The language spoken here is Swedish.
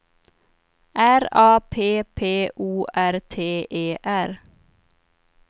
R A P P O R T E R